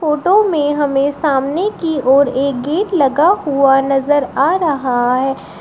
Photo में हमें सामने की ओर एक गेट लगा हुआ नजर आ रहा है।